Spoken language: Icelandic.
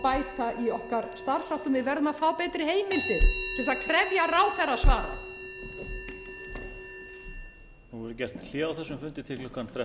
bæta í okkar starfsháttum við verðum að fá betri heimildir til að krefja ráðherra svara